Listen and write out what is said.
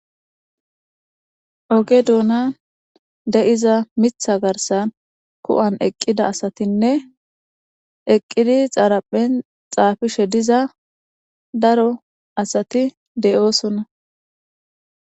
oge duuna de7iza mitha garsan ku7an eqqida asatinne eqqidi xaaraphen xaafishe diza daro asati de7oosona